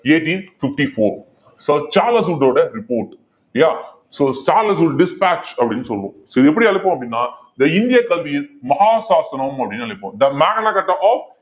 eighteen fifty-four so Charles வூட்டோட report yeah so Charles Wood dispatch அப்படின்னு சொல்லுவோம் so இது எப்படி அழைப்போம் அப்படின்னா the இந்திய கல்வியின் மகா சாசனம் அப்படின்னு அழைப்போம் the magna carta of